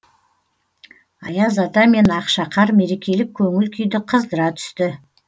аяз ата мен ақшақар мерекелік көңіл күйді қыздыра түсті